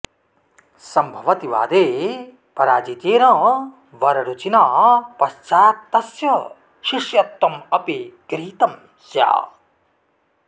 सम्भवति वादे पराजितेन वररुचिना पश्चात्तस्य शिष्यत्वमपि गृहीतं स्यात्